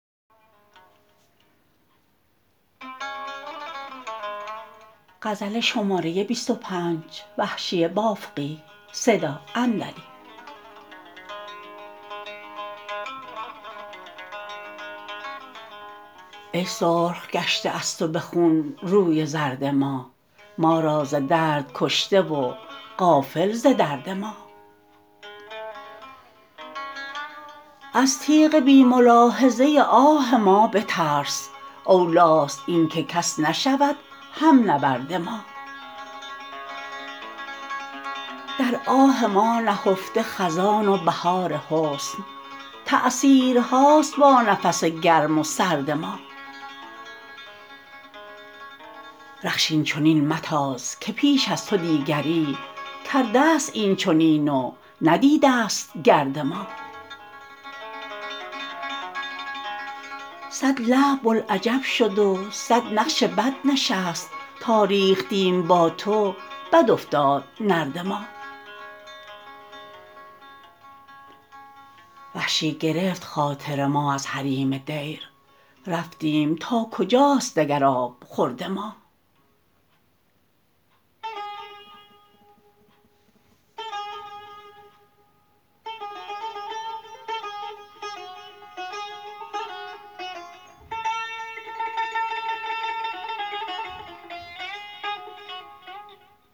ای سرخ گشته از تو به خون روی زرد ما ما را ز درد کشته و غافل ز درد ما از تیغ بی ملاحظه آه ما بترس اولیست اینکه کس نشود هم نبرد ما در آه ما نهفته خزان و بهار حسن تأثیرهاست با نفس گرم و سرد ما رخش اینچنین متاز که پیش از تو دیگری کردست اینچنین و ندیدست گرد ما سد لعب بلعجب شد و سد نقش بد نشست تا ریختیم با تو بد افتاد نرد ما وحشی گرفت خاطر ما از حریم دیر رفتیم تا کجاست دگر آبخورد ما